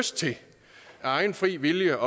egen fri vilje